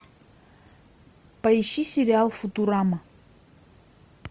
поищи сериал футурама